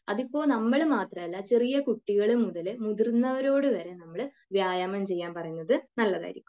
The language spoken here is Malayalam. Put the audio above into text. അതിപ്പോ നമ്മൾ മാത്രല്ല ചെറിയ കുട്ടികൾ മുതൽ മുതിർന്നവരോട് വരെ വ്യായാമം ചെയ്യാൻ പറയുന്നത് നല്ലതായിരിക്കും